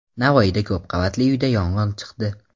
Navoiyda ko‘p qavatli uyda yong‘in chiqdi.